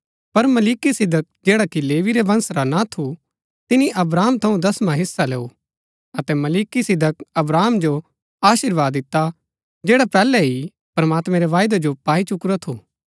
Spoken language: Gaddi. पर मलिकिसिदक जैड़ा कि लेवी रै वंश रा ना थू तिनी अब्राहम थऊँ दसवां हिस्सा लैऊ अतै मलिकिसिदक अब्राहम जो अशीर्वाद दिता जैड़ा पैहलै ही प्रमात्मैं रै वायदै जो पाई चुकुरा थू